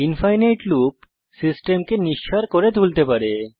ইনফিনিতে loop সিস্টেমকে নিঃসাড় করে তুলতে পারে